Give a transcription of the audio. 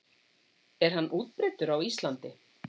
Er hann útbreiddur á Íslandi?